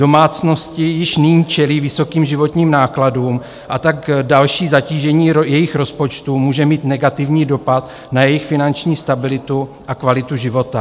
Domácnosti již nyní čelí vysokým životním nákladům, a tak další zatížení jejich rozpočtu může mít negativní dopad na jejich finanční stabilitu a kvalitu života.